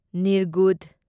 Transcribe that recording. ꯅꯤꯔꯒꯨꯗ